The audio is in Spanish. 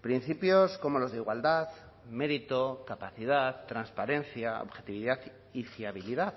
principios como los de igualdad mérito capacidad transparencia objetividad y fiabilidad